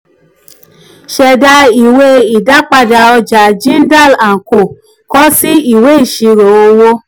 ṣẹda ìwé ìdápadà ọja jindal and co kọ si ìwé ìṣirò owó.